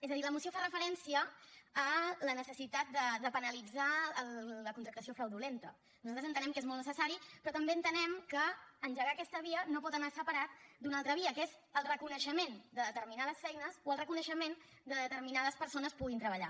és a dir la moció fa referència a la necessitat de penalitzar la contractació fraudulenta nosaltres entenem que és molt necessari però també entenem que engegar aquesta via no pot anar separat d’una altra via que és el reconeixement de determinades feines o el reconeixement que determinades persones puguin treballar